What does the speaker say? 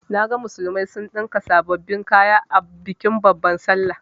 Naga musulmai sun ɗinka sababbin kaya a bikin babban sallah.